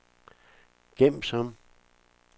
gem som